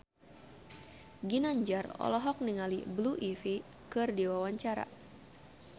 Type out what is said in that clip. Ginanjar olohok ningali Blue Ivy keur diwawancara